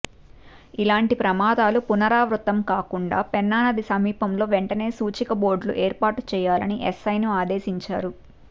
ఇలాంటి ప్రమాదాలు పునరావృతం కాకుండా పెన్నా నది సమీపంలో వెంటనే సూచిక బోర్డులు ఏర్పాటు చేయాలని ఎస్ఐ ని ఆదేశించారు